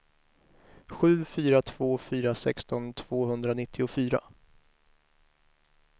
sju fyra två fyra sexton tvåhundranittiofyra